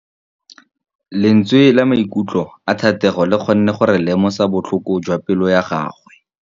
Lentswe la maikutlo a Thategô le kgonne gore re lemosa botlhoko jwa pelô ya gagwe.